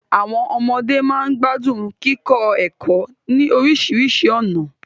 Àwọn ọmọde máa ń gbádùn kíkọ ẹ̀kọ́ ní oríṣiríṣi ọ̀nà